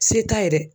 Se t'a ye dɛ